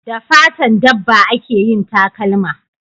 Da fatan dabba a ke yin takalma